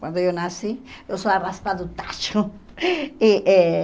Quando eu nasci, eu sou a raspa do tacho. E eh